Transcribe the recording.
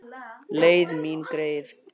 Leið mín greið.